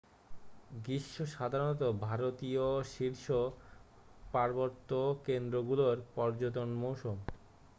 গ্রীষ্ম সাধারণত ভারতীয় শীর্ষ পার্বত্য কেন্দ্রগুলোর পর্যটন মৌসুম